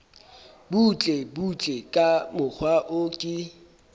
butlebutle ka mokgwa o ke